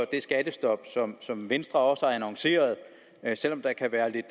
det skattestop som venstre også har annonceret selv om der kan være lidt